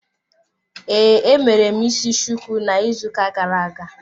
Ee, emere m isi shuku na ịzụ ụka gara-aga.